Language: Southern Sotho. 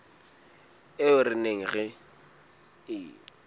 eo re neng re e